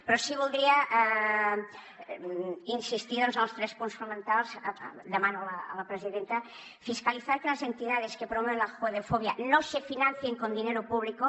però sí que voldria insistir doncs en els tres punts fonamentals ho demano a la presidenta fiscalizar que las entidades que promueven la judeofobia no se financien con dinero público